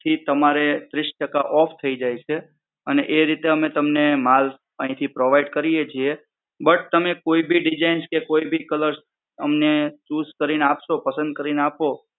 પછી તમારે ત્રીસ ટકા off થઈ જાય છે અને એ રીતે અમે તમને માલ અહીથી provide કરીએ છીએ but તમે કોઈ ભી Design કોઈ ભી colour અમને choose કરીને આપશો પસંદ કરીને આપો,